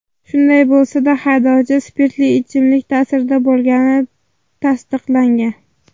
Shunday bo‘lsa-da, haydovchi spirtli ichimlik ta’sirida bo‘lgani tasdiqlangan.